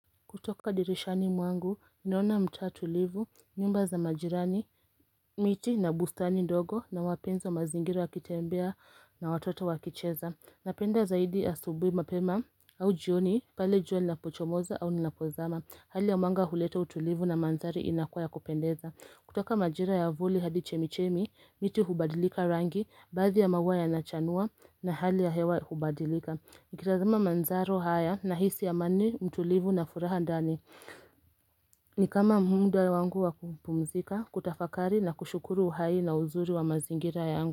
Kutoka dirishani mwangu, naona mtaa tulivu, nyumba za majirani, miti na bustani ndogo na wapenzi wa mazingira wakitembea na watoto wakicheza. Napenda zaidi asubui mapema au jioni, pale jioni lina pochomoza au linapozama. Hali ya mwanga huleta utulivu na mandhari inakuwa ya kupendeza. Kutoka majira ya vuli hadi chemichemi, miti hubadilika rangi, baadhi ya maua ya nachanua na hali ya hewa hubadilika. Nikitazama manzaro haya na hisi amani, utulivu na furaha ndani Nikama muda wangu wakupumzika, kutafakari na kushukuru uhai na uzuri wa mazingira yangu.